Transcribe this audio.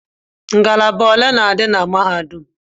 Ngalaba ole na-adị na mahadum?